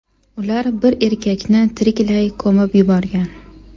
Ular bir erkakni tiriklay ko‘mib yuborgan.